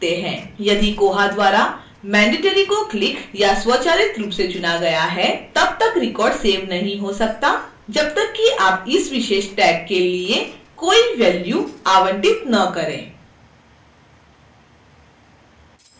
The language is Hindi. यदि koha द्वारा mandatory को clicked या स्वचालित रूप से चुना गया हैतब तक record सेव नहीं हो सकता जब तक कि आप इस विशेष tag के लिए कोई value आवंटित न करें